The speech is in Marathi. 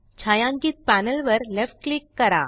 छायांकित पॅनल वर लेफ्ट क्लिक करा